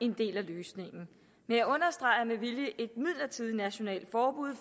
en del af løsningen men jeg understreger med vilje et midlertidigt nationalt forbud